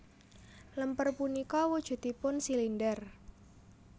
Lemper punika wujudipun silinder